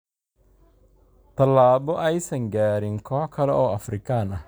Tallaabo aysan gaarin koox kale oo Afrikaan ah.